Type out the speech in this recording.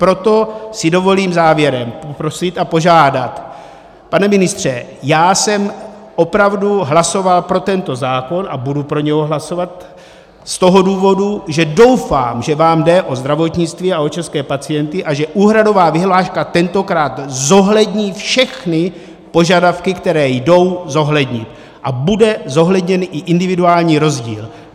Proto si dovolím závěrem poprosit a požádat, pane ministře, já jsem opravdu hlasoval pro tento zákon a budu pro něj hlasovat z toho důvodu, že doufám, že vám jde o zdravotnictví a o české pacienty a že úhradová vyhláška tentokrát zohlední všechny požadavky, které jdou zohlednit, a bude zohledněn i individuální rozdíl.